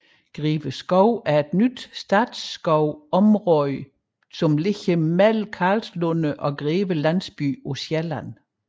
Greve Skov er et nyt statsskovområde beliggende i mellem Karlslunde og Greve Landsby på Sjælland